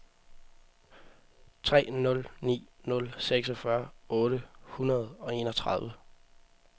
tre nul ni nul seksogfyrre otte hundrede og enogtredive